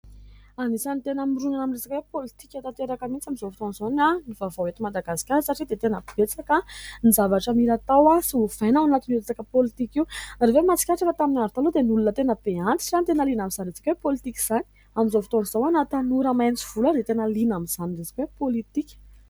Anisany tena mirona amin'ny resaka politika tanteraka mihitsy amin'izao fotoan'izao ny vaovao ety madagasikara satria dia tena betsaka ny zavatra mila atao sy hovaina ao anatin' io resaka politika io ; ianareo ve mahatsikaritra ? Efa tamin'ny andro taloha dia ny olona tena be antitra izany tena liana amin'izany resaka politika izany ; amin'izao fotoan'izao na tanora maitso volo ary dia tena liana amin'izany resaka politika.